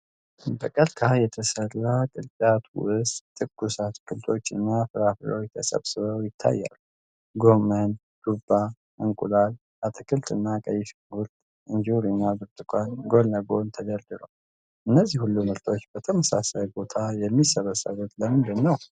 በቀርካ በተሠራ ቅርጫት ውስጥ ትኩስ አትክልቶችና ፍራፍሬዎች ተሰብስበው ይታያሉ። ጎመን፣ ዱባ፣ እንቁላል አትክልት፣ ቀይ ሽንኩርት፣ እንጆሪና ብርቱካን ጎን ለጎን ተደርድረዋል። እነዚህ ሁሉ ምርቶች በተመሳሳይ ቦታ የሚሰበሰቡት ለምንድን ነው?